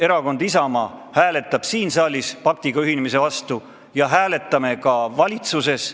Erakond Isamaa hääletab siin saalis paktiga ühinemise vastu ja teeme seda ka valitsuses.